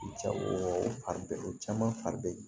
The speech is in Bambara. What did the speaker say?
Ja o fari bɛ o caman fari bɛ